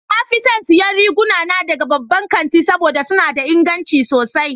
Na fi son siyan riguna na daga babban kanti saboda suna da inganci sosai.